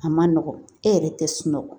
A ma nɔgɔn e yɛrɛ tɛ sunɔgɔ